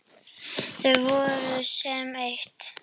Þau voru sem eitt.